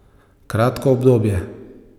Kratko obdobje.